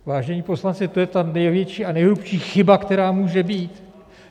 Vážení poslanci, to je ta největší a nejhrubší chyba, která může být!